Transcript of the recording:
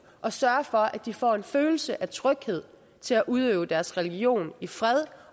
og sørge for at de får en følelse af tryghed til at udøve deres religion i fred